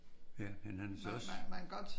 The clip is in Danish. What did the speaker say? Ja han er også